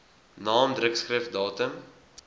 naam drukskrif datum